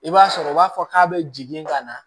I b'a sɔrɔ u b'a fɔ k'a bɛ jigin ka na